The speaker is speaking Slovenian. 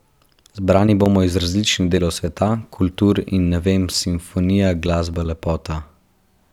Zbrani bomo iz različnih delov sveta, kultur in ne vem, simfonija, glasba, lepota ...